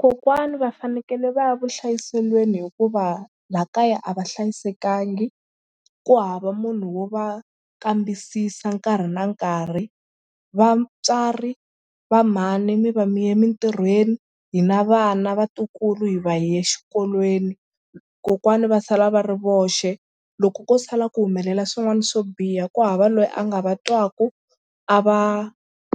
Kokwani va fanekele va ya vuhlayiselweni hikuva laha kaya a va hlayisekangi ku hava munhu wo va kambisisa nkarhi na nkarhi. Vatswari va mhani mi va mi ye mitirhweni hina vana vatukulu hi va hi ye xikolweni kokwani va sala va ri voxe loko ko sala ku humelela swin'wana swo biha ku hava loyi a nga va twaku a va